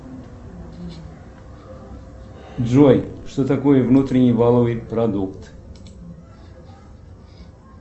джой что такое внутренний валовый продукт